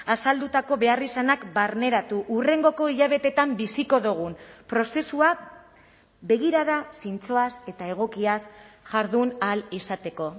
azaldutako beharrizanak barneratu hurrengoko hilabeteetan biziko dugun prozesua begirada zintzoaz eta egokiaz jardun ahal izateko